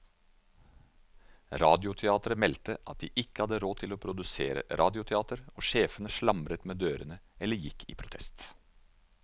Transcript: Radioteateret meldte at de ikke hadde råd til å produsere radioteater, og sjefene slamret med dørene eller gikk i protest.